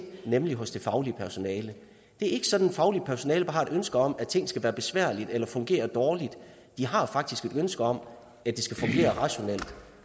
nemlig hos det faglige personale det er ikke sådan at det faglige personale har et ønske om at ting skal være besværlige eller fungere dårligt de har faktisk et ønske om at det skal fungere rationelt